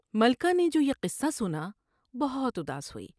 ملکہ نے جو یہ قصہ سنا بہت اداس ہوئی ۔